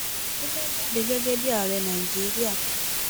ó fẹẹ jáde gẹgẹ bíi ààrẹ nàìjíríà